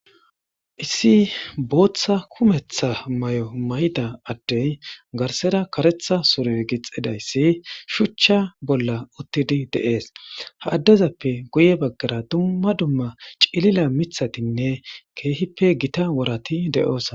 Issi bootha mayo mayida addey garsera karetha mayo mayidaysi shuchcha bolla uttides. Ha addeza guye baggara dumma dumma cililo worati de'oosona.